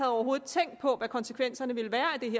overhovedet tænkt på hvad konsekvenserne